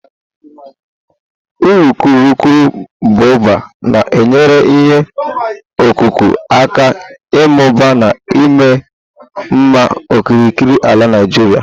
urukurubụba na-enyere ihe ọkụkụ aka ịmụba na ịma mma n'okirikiri ala Naijiria.